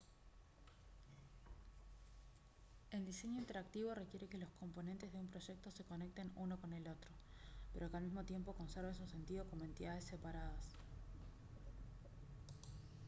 el diseño interactivo requiere que los componentes de un proyecto se conecten uno con el otro pero que al mismo tiempo conserven su sentido como entidades separadas